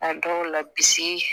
A dɔw la bisi